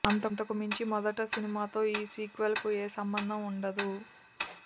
అంతకు మించి మొదట సినిమాతో ఈ సీక్వెల్ కు ఏ సంభందం ఉండదు